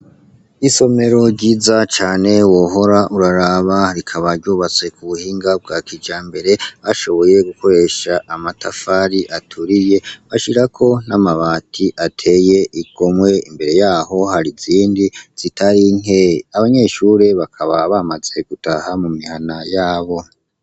isomero ryiza cane wohora uraraba rikaba ryubatse ku buhinga bwa kija mbere ashoboye gukoresha amatafari aturiye bashirako n'amabati ateye igomwe imbere yaho hari zindi zitari nke abanyeshure bakaba bamaze gutaha mu mihana yabo